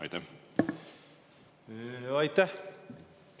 Aitäh!